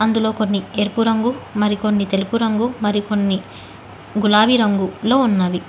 అందులో కొన్ని ఎరుపు రంగు మరికొన్ని తెలుపురంగు మరికొన్ని గులాబీ రంగు లో ఉన్నవి.